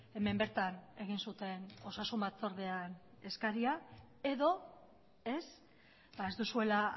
hemen bertan egin zuten osasun batzordean eskaria edo ez ez duzuela